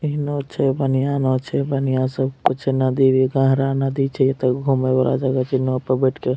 इ नाव छै बढ़िया नाव छै बढ़िया सब कुछ छै नदी भी गहरा नदी छै एता घूमे वला जगह छै नाव पर बैठ के --